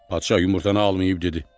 Padşah yumurtanı almayıb dedi: